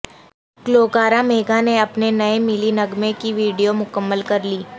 گلوکارہ میگھا نے اپنے نئے ملی نغمے کی ویڈیو مکمل کر لی